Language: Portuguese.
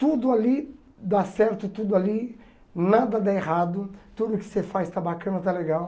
Tudo ali dá certo, tudo ali nada dá errado, tudo que você faz está bacana, está legal.